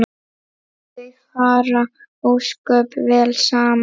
Þau fara ósköp vel saman